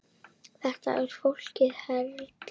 Þetta er flókið ferli.